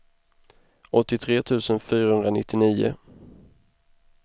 åttiotre tusen fyrahundranittionio